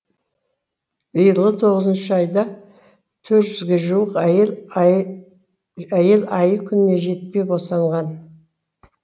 биылғы тоғызыншы айда төрт жүзге жуық әйел айы күніне жетпей босанған